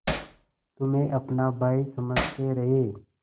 तुम्हें अपना भाई समझते रहे